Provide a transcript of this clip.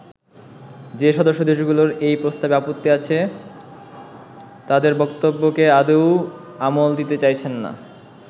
যে সদস্য দেশগুলোর এই প্রস্তাবে আপত্তি আছে তাদের বক্তব্যকে আদৌ আমল দিতে চাইছেন না।